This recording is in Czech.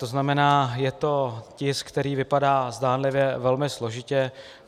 To znamená, je to tisk, který vypadá zdánlivě velmi složitě.